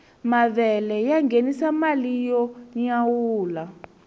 mavele ya ngenisa mali yo nyawula